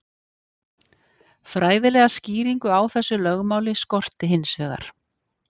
Fræðilega skýringu á þessu lögmáli skorti hins vegar.